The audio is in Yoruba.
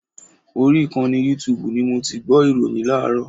Orí ìkànnì yútuùbù ni mo ti gbọ́ ìròyìn láàárọ̀.